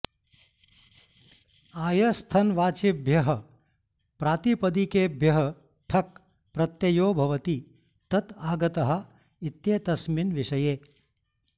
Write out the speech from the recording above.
आयस्थनवाचिभ्यः प्रातिपदिकेभ्यः ठक् प्रत्ययो भवति तत आगतः इत्येतस्मिन् विषये